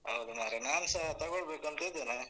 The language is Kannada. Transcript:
ಹೌದಾ ಮಾರ್‍ರೇ ನಾನ್ಸ ತಗೊಳ್ಬೇಕು ಅಂತ ಇದ್ದೇನೆ.